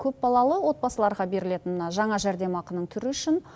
көпбалалы отбасыларға берілетін мына жаңа жәрдемақының түрі үшін